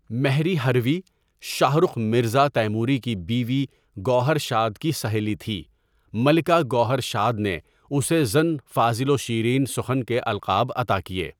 مهری هروی ، شاه رخ میرزا تیموری کی بیوی گوہرشاد کی سہیلی تھی ملکه گوهر شاد نے اسے زن فاضل و شیرین سخن کے القاب عطا کیے.